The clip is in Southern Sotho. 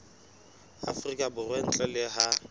afrika borwa ntle le ha